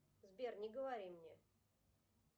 сбер не говори мне